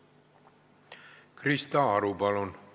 Krista Aru, palun!